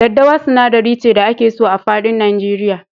Daddawa sinadari ce da ake so a faɗin Nigeria.